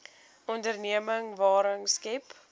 onderneming waarde skep